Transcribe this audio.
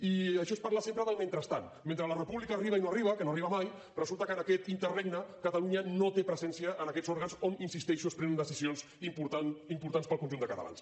i això és parlar sempre del mentrestant mentre la república arriba i no arriba que no arriba mai resulta que en aquest interregne catalunya no té presència en aquests òrgans on hi insisteixo es prenen decisions importants per al conjunt de catalans